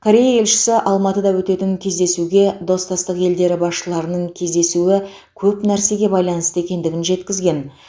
корея елшісі алматыда өтетін кездесуге достастық елдері басшыларының кездесуі көп нәрсе байланысты екендігін жеткізген